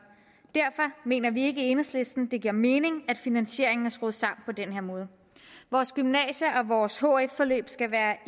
derfor mener vi ikke i enhedslisten det giver mening at finansieringen er skruet sammen på den her måde vores gymnasie og vores hf forløb skal være